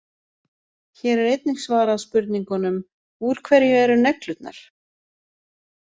Hér er einnig svarað spurningunum: Úr hverju eru neglurnar?